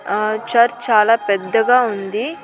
ఆ చర్చ్ చాలా పెద్దగా ఉంది.